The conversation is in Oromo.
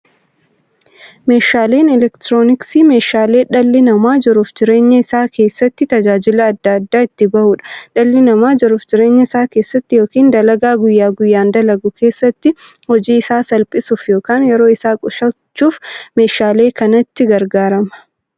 Meeshaaleen elektirooniksii meeshaalee dhalli namaa jiruuf jireenya isaa keessatti, tajaajila adda addaa itti bahuudha. Dhalli namaa jiruuf jireenya isaa keessatti yookiin dalagaa guyyaa guyyaan dalagu keessatti, hojii isaa salphissuuf yookiin yeroo isaa qusachuuf meeshaalee kanatti gargaarama.